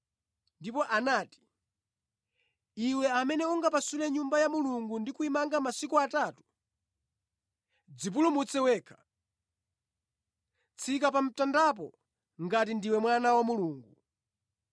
Ndipo anati, “Iwe amene ungapasule Nyumba ya Mulungu ndi kuyimanga masiku atatu, dzipulumutse wekha! Tsika pa mtandapo ngati ndiwe Mwana wa Mulungu!”